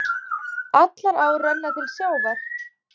Allar ár renna til sjávar.